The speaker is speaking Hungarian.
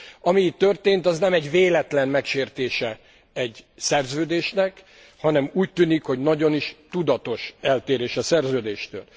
Ami itt történt, az nem véletlen megsértése egy szerződésnek, hanem úgy tűnik, hogy nagyon is tudatos eltérés a szerződéstől.